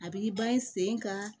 A b'i ban i sen kan